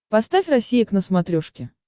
поставь россия к на смотрешке